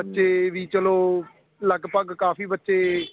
ਬੱਚੇ ਵੀ ਚਲੋ ਲੱਗਭਗ ਕਾਫੀ ਬੱਚੇ